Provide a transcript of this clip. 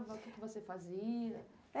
O que você fazia?